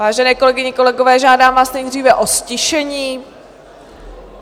Vážené kolegyně, kolegové, žádám vás nejdříve o ztišení.